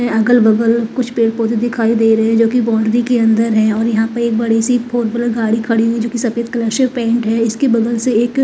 अगल बगल कुछ पेड़ पौधे दिखाई दे रहे है जो की बाउंड्री के अंदर है और यहाँ पे एक बड़ी सी फोर व्हीलर खड़ी हुई जो की सफ़ेद कलर से पेंट है इसके बगल से एक--